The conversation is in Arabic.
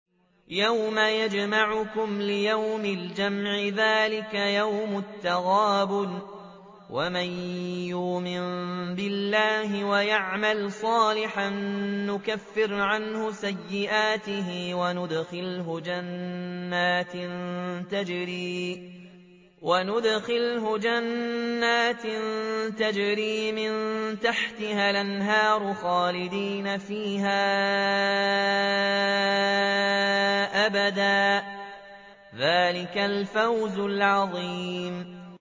يَوْمَ يَجْمَعُكُمْ لِيَوْمِ الْجَمْعِ ۖ ذَٰلِكَ يَوْمُ التَّغَابُنِ ۗ وَمَن يُؤْمِن بِاللَّهِ وَيَعْمَلْ صَالِحًا يُكَفِّرْ عَنْهُ سَيِّئَاتِهِ وَيُدْخِلْهُ جَنَّاتٍ تَجْرِي مِن تَحْتِهَا الْأَنْهَارُ خَالِدِينَ فِيهَا أَبَدًا ۚ ذَٰلِكَ الْفَوْزُ الْعَظِيمُ